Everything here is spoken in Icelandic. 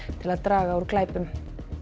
til að draga úr glæpum